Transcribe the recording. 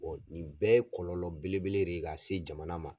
nin bɛɛ ye kɔlɔlɔ bele bele de ye ka se jamana ma.